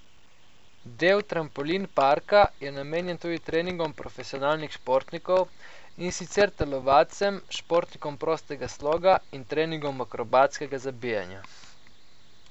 Del trampolin parka je namenjen tudi treningom profesionalnih športnikov, in sicer telovadcem, športnikom prostega sloga in treningom akrobatskega zabijanja.